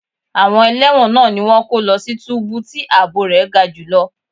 Àwọn ẹlẹ́wọ̀n náà ni wón kọ́ lọ sí túbú tí ààbò rẹ̀ ga jù lọ.